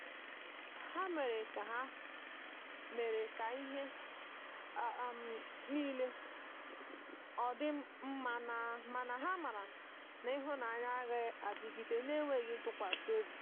ha mere ka mere ka ihe um nile ọdi mmamana ha mara na ihunanya agaghi adịgide n'enweghi ntụkwasi ọbị.